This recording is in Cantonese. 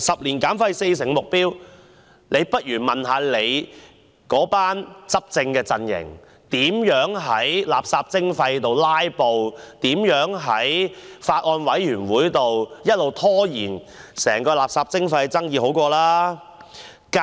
就此，政府不如問問其執政的陣營，如何在垃圾徵費的討論上"拉布"，如何在相關的法案委員會上一直拖延整個垃圾徵費的討論。